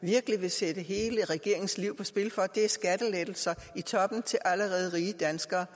virkelig vil sætte hele regeringens liv på spil for skattelettelser i toppen til allerede rige danskere